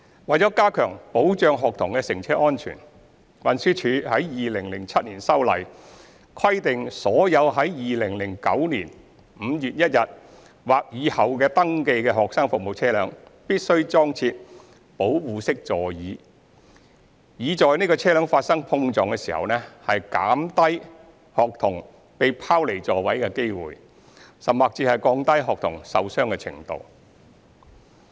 為加強保障學童的乘車安全，運輸署於2007年修例，規定所有在2009年5月1日或以後登記的學生服務車輛，必須裝設"保護式座椅"，以在車輛發生碰撞時減低學童被拋離座位的機會，及降低學童受傷程度。